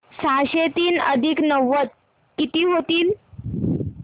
सहाशे तीन अधिक नव्वद किती होतील